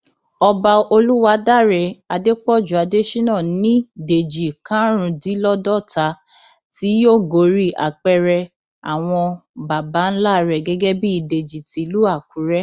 ọba olùwádàrẹ adépọjù adésínà ní dèjì karùndínláàádọta tí yóò gorí apẹrẹ àwọn baba ńlá rẹ gẹgẹ bíi dèjì tìlú àkùrẹ